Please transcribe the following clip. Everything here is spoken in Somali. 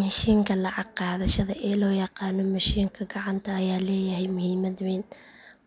Mishiinka lacag qaadashada ee loo yaqaan mashiinka gacanta ayaa leeyahay muhiimad weyn